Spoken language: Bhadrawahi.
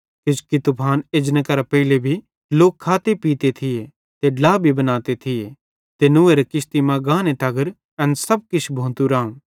किजोकि तूफान एजने करां पेइले भी लोक खाते पीते थिये ते ड्ला भी बनाते थिये ते नूहेरे किश्ती मां गाने तगर एन सब किछ भोतू राऊं